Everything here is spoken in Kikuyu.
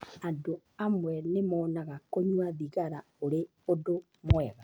Andũ amwe nĩ monaga kũnyua thigara ũrĩ ũndũ mwega.